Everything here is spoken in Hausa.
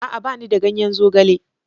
A'a! Ba ni da ganyen zogale.